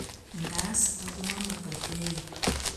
#Auma Mckakeyo